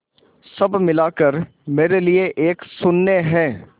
सब मिलाकर मेरे लिए एक शून्य है